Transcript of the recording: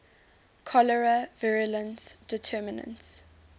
cholerae virulence determinants